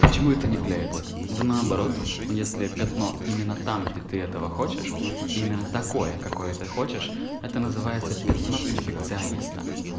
почему это не клеится да наоборот если пятно именно там где ты этого хочешь именно такое какое ты хочешь это называется пятно перфекциониста